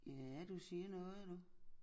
Ja du siger noget nu